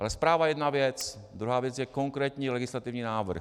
Ale zpráva je jedna věc, druhá věc je konkrétní legislativní návrh.